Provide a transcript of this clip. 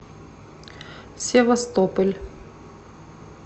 севастополь